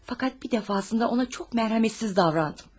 Fəqət bir dəfə ona çox rəhimsiz davrandım.